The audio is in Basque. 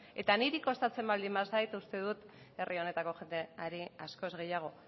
eta niri kostatzen baldin bazait uste dut herri honetako jendeari askoz gehiago